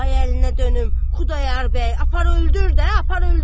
Ay əlinə dönüm Xudayar bəy, apar öldür də, apar öldür.